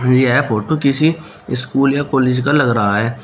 यह फोटो किसी स्कूल या कॉलेज का लग रहा है।